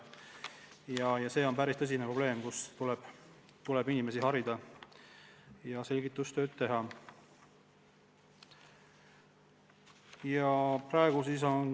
Inimesi tuleb harida ja selgitustööd teha.